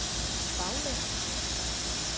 baglæns